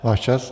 Váš čas.